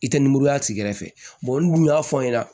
I tɛ nimoroya tigi kɛrɛfɛ n'u y'a fɔ aw ɲɛna